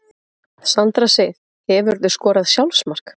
Sandra Sif Hefurðu skorað sjálfsmark?